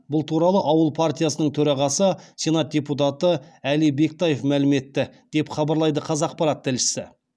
бұл туралы ауыл партиясының төрағасы сенат депутаты әли бектаев мәлім етті деп хабарлайды қазақпарат тілшісі